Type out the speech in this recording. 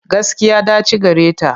Gaskiya, ɗaci gareta.